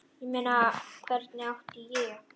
Ég meina, hvernig átti ég?